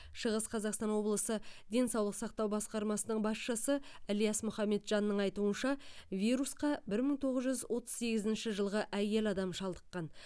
шығыс қазақстан облысы денсаулық сақтау басқармасының басшысы ілияс мұхамеджанның айтуынша вирусқа бір мың тоғыз жүз отыз сегізінші жылғы әйел адам шалдыққан